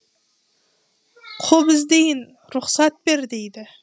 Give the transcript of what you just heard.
құп іздейін рұқсат бер дейді